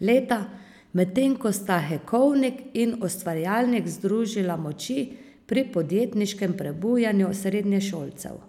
leta, medtem ko sta Hekovnik in Ustvarjalnik združila moči pri podjetniškem prebujanju srednješolcev.